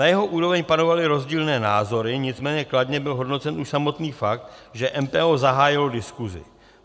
Na jeho úroveň panovaly rozdílné názory, nicméně kladně byl hodnocen už samotný fakt, že MPO zahájilo diskusi.